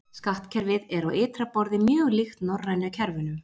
Skattkerfið er á ytra borði mjög líkt norrænu kerfunum.